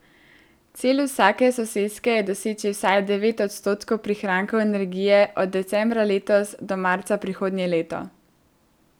Cilj vsake soseske je doseči vsaj devet odstotkov prihrankov energije od decembra letos do marca prihodnje leto.